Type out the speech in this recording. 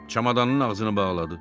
Çamadanın ağzını bağladı.